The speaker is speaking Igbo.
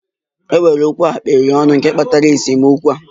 È nwere okwu a kapịrị ọnụ nke kpatara esemokwu a?